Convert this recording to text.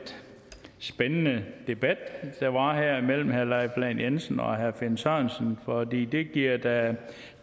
spændende debat der var her mellem herre leif lahn jensen og herre finn sørensen for det det giver da